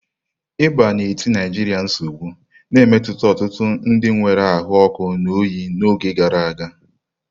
Ịba na-eti Naijiria nsogbu, na-emetụta ọtụtụ ndị nwere ahụ ọkụ na oyi n'oge gara aga.